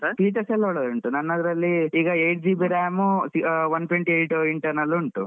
ಹಾ features ಎಲ್ಲಾ ಒಳ್ಳೆ ಉಂಟು ನನ್ದ್ರಲ್ಲಿ ಈಗ eight GB ram one twenty eight internal ಉಂಟು.